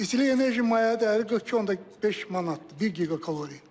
İstilik enerji maliyyə dəyəri 42.5 manatdır, bir giqa kalori.